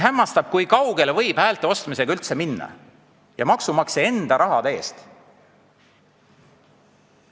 Hämmastav, kui kaugele võib üldse minna häälte ostmisega maksumaksja enda raha eest.